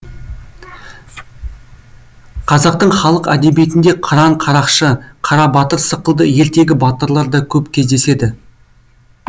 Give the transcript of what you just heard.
қазақтың халық әдебиетінде қыран қарақшы қара батыр сықылды ертегі батырлар да көп кездеседі